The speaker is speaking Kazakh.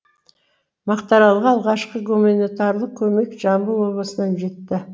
мақтааралға алғашқы гуманитарлық көмек жамбыл облысынан жетті